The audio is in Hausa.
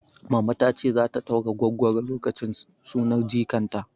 Mama tace zata ɗaura gwaggwaro lokacin sunar jikan ta